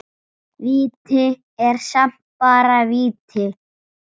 Víti er samt bara víti.